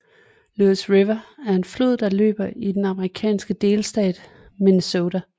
Louis River er en flod der løber i den amerikanske delstat Minnesota